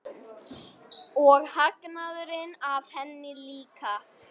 Og hagnaðurinn af henni líka.